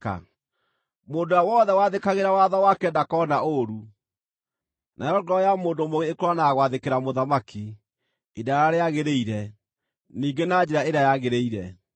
Mũndũ ũrĩa wothe wathĩkagĩra watho wake ndakoona ũũru, nayo ngoro ya mũndũ mũũgĩ ĩkũũranaga gwathĩkĩra mũthamaki ihinda rĩrĩa rĩagĩrĩire, ningĩ na njĩra ĩrĩa yagĩrĩire.